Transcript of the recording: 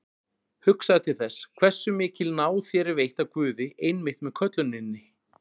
Hugsaðu til þess, hversu mikil náð þér er veitt af Guði einmitt með kölluninni.